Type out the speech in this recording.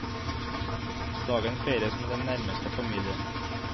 Dagen feires med den nærmeste familie.